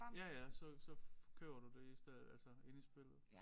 Ja ja så så køber du det i stedet altså inde i spillet